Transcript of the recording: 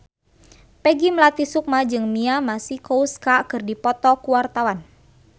Peggy Melati Sukma jeung Mia Masikowska keur dipoto ku wartawan